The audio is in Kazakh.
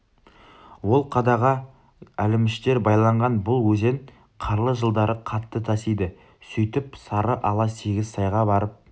ол қадаға әлеміштер байланған бұл өзен қарлы жылдары қатты тасиды сөйтіп сары ала сегіз сайға барып